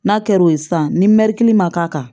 N'a kɛr'o ye sisan ni mɛɛrikili man k'a kan